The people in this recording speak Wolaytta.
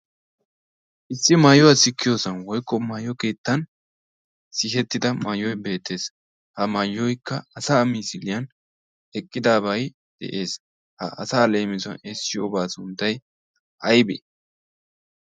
issi maayuwaa sikkiyoosan woykko maayo keettan sihettida maayoy beettees ha maayoykka asa misiliyan eqqidabay de'ees ha asa leemison eessiyoobaa sundtay aybe